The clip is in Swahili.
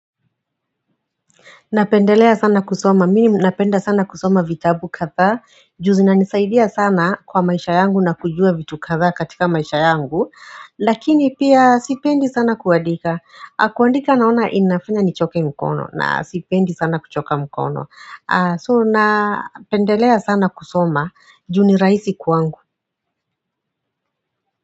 Napendelea sana kusoma, mimi napenda sana kusoma vitabu kadhaa Juzi nanisaidia sana kwa maisha yangu na kujua vitu kadha katika maisha yangu Lakini pia sipendi sana kuadika Kuadika naona inafanya nichoke mkono na sipendi sana kuchoka mkono So napendelea sana kusoma juniraisi kuangu.